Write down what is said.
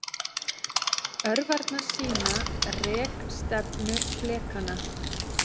Örvarnar sýna rekstefnu flekanna.